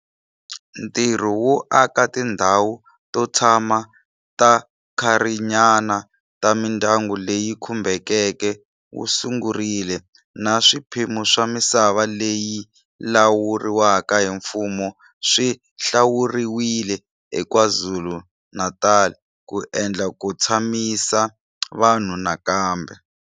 Ntirho wo aka tindhawu to tshama ta nkarhinyana ta mindyangu leyi khumbekeke wu sungurile Na swiphemu swa misava leyi lawuriwaka hi mfumo swi hlawuriwile eKwaZulu-Natal ku endlela ku tshamisa vanhu nakambe.